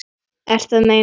Ertu að meina.?